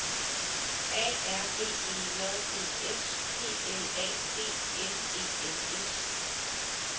A R B E J D S P L A D S E N S